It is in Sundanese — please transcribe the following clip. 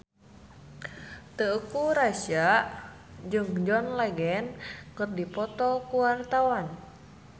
Teuku Rassya jeung John Legend keur dipoto ku wartawan